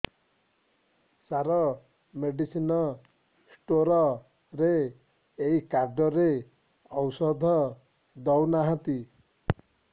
ସାର medicine store ରେ ଏଇ card ରେ ଔଷଧ ଦଉନାହାନ୍ତି